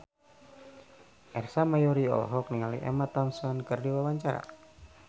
Ersa Mayori olohok ningali Emma Thompson keur diwawancara